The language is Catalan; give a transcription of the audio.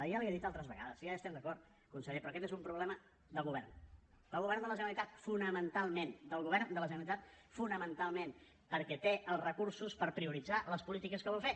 i ja l’hi he dit altres vegades si ja hi estem d’acord conseller però aquest és un problema del govern del govern de la generalitat fonamentalment del govern de la generalitat fonamentalment perquè té els recursos per prioritzar les polítiques que vol fer